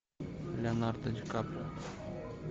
леонардо ди каприо